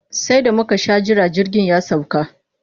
Sai da muka sha jira jirgin ya sauka.